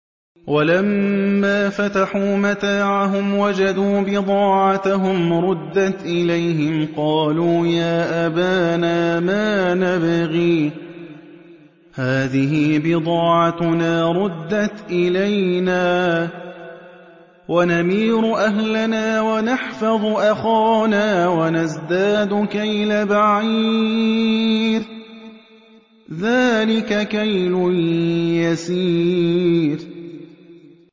وَلَمَّا فَتَحُوا مَتَاعَهُمْ وَجَدُوا بِضَاعَتَهُمْ رُدَّتْ إِلَيْهِمْ ۖ قَالُوا يَا أَبَانَا مَا نَبْغِي ۖ هَٰذِهِ بِضَاعَتُنَا رُدَّتْ إِلَيْنَا ۖ وَنَمِيرُ أَهْلَنَا وَنَحْفَظُ أَخَانَا وَنَزْدَادُ كَيْلَ بَعِيرٍ ۖ ذَٰلِكَ كَيْلٌ يَسِيرٌ